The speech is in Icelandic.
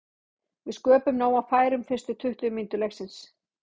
Við sköpuðum nóg af færum fyrstu tuttugu mínútur leiksins.